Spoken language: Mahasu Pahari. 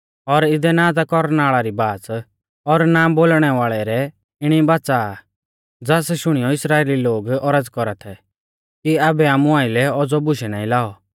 और इदै ना ता कौरनाल़ा री बाच़ और ना बोलणै वाल़ै रै इणी बाच़ा आ ज़ास शुणीयौ इस्राइली लोग औरज़ कौरा थै कि आबै आमु आइलै औज़ौ बुशै नाईं लाऔ